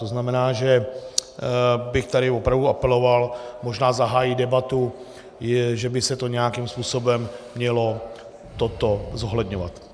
To znamená, že bych tady opravdu apeloval, možná zahájit debatu, že by se to nějakým způsobem mělo toto zohledňovat.